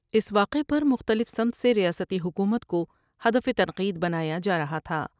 اس واقع پر مختلف سمت سے ریاستی حکومت کو ہدف تنقید بنایا جارہا تھا ۔